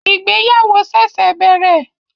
Ìgbéyàwó ṣẹ̀ṣẹ̀ bẹ̀rẹ̀